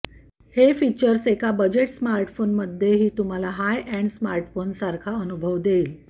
हे फीचर्स एका बजेट स्मार्टफोनमध्येही तुम्हाला हाय एण्ड स्मार्टफोनसारखा अनुभव देईल